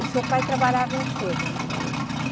O seu pai trabalhava em que, dona Maria?